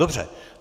Dobře.